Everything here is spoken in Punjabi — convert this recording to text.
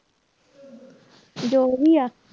ਜੋ ਵੀ ਆ,